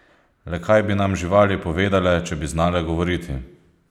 Le kaj bi nam živali povedale, če bi znale govoriti?